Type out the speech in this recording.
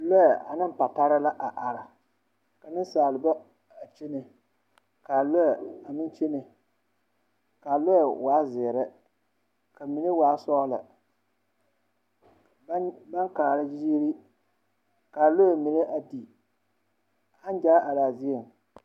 Lͻԑ ane patare la a are. Ka nensaaleba a kyene, kaa lͻԑ a meŋ kyene. Kaa lͻԑ waa zeere ka mine waa sͻgelͻ. Baŋ baŋ kaara ziiri, kaa lͻԑ mine a di, aŋ gyaa araa zie.